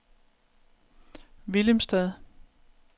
Willemstad